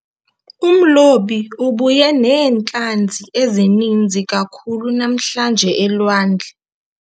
Umlobi ubuye neentlanzi ezininzi kakhulu namhlanje elwandle.